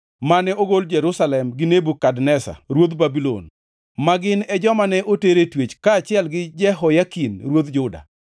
mane ogol Jerusalem gi Nebukadneza ruoth Babulon, ma gin e joma ne oter e twech kaachiel gi Jehoyakin ruodh Juda.